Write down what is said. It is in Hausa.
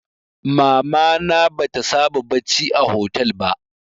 Mama na bata saba bacci a hotel ba